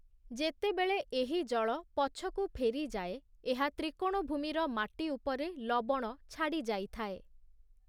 ଯେତେବେଳେ ଏହି ଜଳ ପଛକୁ ଫେରିଯାଏ, ଏହା ତ୍ରିକୋଣଭୂମିର ମାଟି ଉପରେ ଲବଣ ଛାଡି଼ଯାଇଥାଏ ।